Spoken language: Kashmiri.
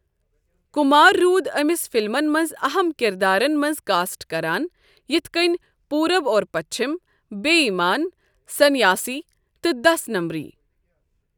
کمار روٗد أمِس فلمَن منٛز اہم کردارَن منٛز کاسٹ کران یِتھ کٔنۍ پورب اور پچھم، بے ایمان، سنیاسی، تہٕ دس نمبری۔